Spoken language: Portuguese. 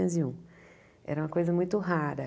Era uma coisa muito rara.